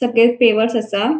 Separate flavours आसा.